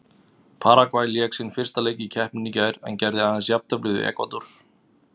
Paragvæ lék sinn fyrsta leik í keppninni í gær en gerði aðeins jafntefli við Ekvador.